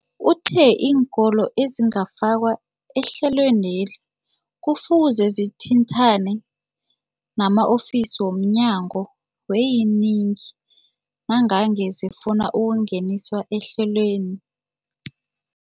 Uthe iinkolo ezingakafakwa ehlelweneli kufuze zithintane nama-ofisi wo mnyango weeyingi nangange zifuna ukungeniswa ehlelweni.